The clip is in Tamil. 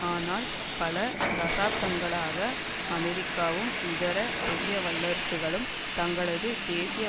ஆனால் பல தசாப்தங்களாக அமெரிக்காவும் இதர பெரிய வல்லரசுகளும் தங்களது தேசிய